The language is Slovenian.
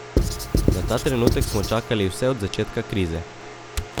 Na ta trenutek smo čakali vse od začetka krize.